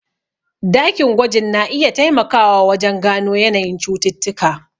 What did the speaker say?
Dakin gwajin na iya taimakawa wajen gano yanayin cututtuka.